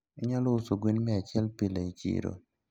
Inyalo uso gwen miachiel pile e chiro?